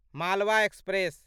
Malwa express